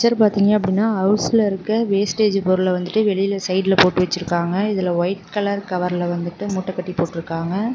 இதுல பாத்தீங்க அப்படின்னா ஹவுஸ்ல இருக்க வேஸ்டேஜ் பொருள வந்துட்டு வெளிய சைடுல போட்டு வச்சிருக்காங்க இதுல ஒயிட் கலர் கவர்ல வந்துட்டு மூட்டக்கட்டி போட்ருக்காங்க.